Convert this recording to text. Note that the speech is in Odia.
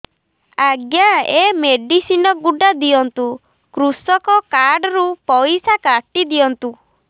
ଆଜ୍ଞା ଏ ମେଡିସିନ ଗୁଡା ଦିଅନ୍ତୁ କୃଷକ କାର୍ଡ ରୁ ପଇସା କାଟିଦିଅନ୍ତୁ